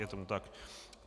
Je tomu tak.